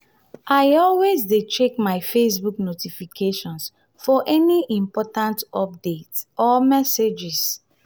i always dey check my facebook notifications for any important updates or messages.